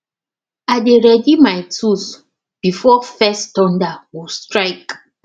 i dey ready my tools before first thunder go strike